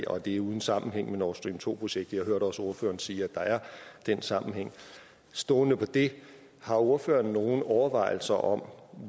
og at det er uden sammenhæng med nord stream to projektet jeg hørte også ordføreren sige at der er den sammenhæng stående på det har ordføreren nogen overvejelser om